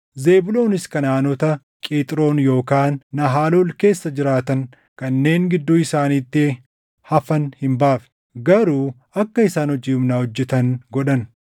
Zebuuloonis Kanaʼaanota Qixroon yookaan Nahalol keessa jiraatan kanneen gidduu isaaniitti hafan hin baafne; garuu akka isaan hojii humnaa hojjetan godhan.